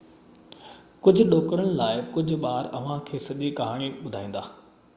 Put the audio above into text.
ڪجهه ڏوڪڙن لاءِ ڪجهه ٻار اوهان کي سڄي ڪهاڻي ٻڌائيندا